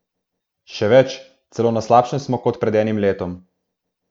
Še več, celo na slabšem smo kot pred enim letom.